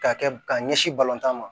K'a kɛ ka ɲɛsin balontan ma